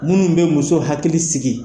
Minnu bɛ muso hakili sigi